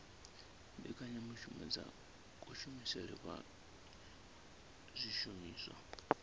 mbekanyamushumo dza kushumisele kwa zwishumiswa